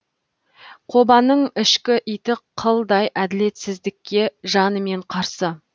кобаның ішкі иті қылдай әділетсіздікке жанымен қарсы